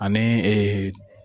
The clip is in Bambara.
Ani ee